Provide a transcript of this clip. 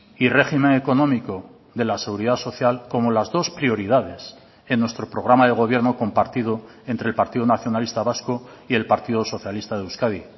y régimen económico de la seguridad social como las dos prioridades en nuestro programa de gobierno compartido entre el partido nacionalista vasco y el partido socialista de euskadi